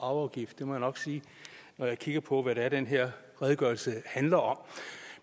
og arveafgift det må jeg nok sige når jeg kigger på hvad det er den her redegørelse handler om